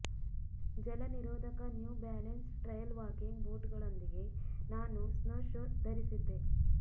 ಜಲನಿರೋಧಕ New Balance trail walking ಬೂಟುಗಳೊಂದಿಗೆ ನಾನು ಸ್ನೊಶೊಸ್ ಧರಿಸಿದ್ದೆ